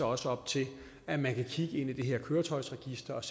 også op til at man kan kigge ind i det her køretøjsregister og